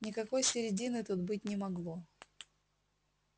никакой середины тут быть не могло